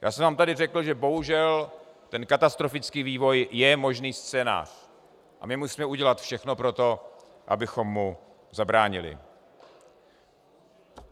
Já jsem vám tady řekl, že bohužel ten katastrofický vývoj je možný scénář, a my musíme udělat všechno pro to, abychom mu zabránili.